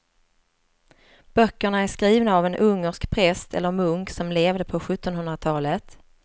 Böckerna är skrivna av en ungersk präst eller munk som levde på sjuttonhundratalet.